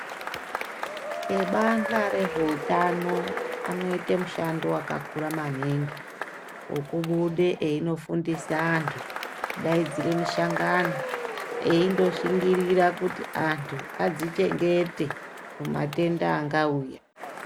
Ebadhla rezveutano anoite mushando wakakura maningi wokubude einofundise antu kudaidzire mishangano eindoshingirira kuti antu adzichengete kumatenda angauya.